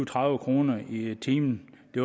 tredive kroner i timen det